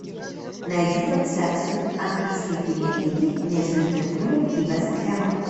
найди трансляцию английской премьер лиги между ливерпулем и вест хэмом